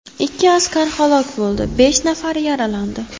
Ikki askar halok bo‘ldi, besh nafari yaralandi.